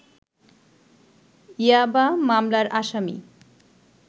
ইয়াবা মামলার আসামি